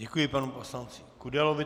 Děkuji panu poslanci Kudelovi.